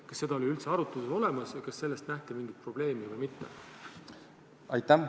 Kas see oli üldse arutluse all ja kui oli, siis kas selles nähti mingit probleemi või mitte?